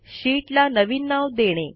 शीटला नवीन नाव देणे